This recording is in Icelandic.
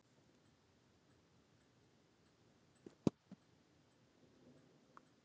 Á hverju byggir fréttamatið?